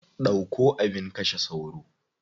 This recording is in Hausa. Ɗauko abin kashe sauro.